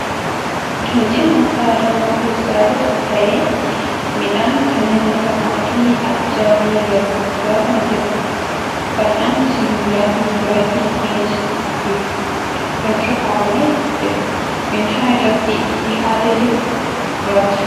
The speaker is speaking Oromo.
Qinceen nyaata aadaa Oromoo keessaa isa tokko ta'ee midhaan kanneen akka qamadii, ajjaa fi garbuu irraa kan hojjatamuudha. Fal'aanni sibiila fi baalli mi'eessituu gidduu irra kaa'amee jira. Meeshaan irratti dhiyaatee jiru gurraacha.